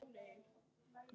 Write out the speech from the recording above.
Mjög vel, meira að segja.